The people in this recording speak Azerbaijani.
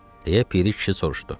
Deyə Piri kişi soruşdu.